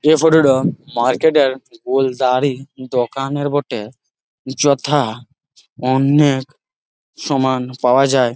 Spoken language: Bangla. এই ফটো -টা মার্কেট -এর বোলদরই দোকানের বটে। যথা অন্যের সমান পাওয়া যায় ।